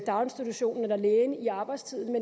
daginstitutionen eller lægen i arbejdstiden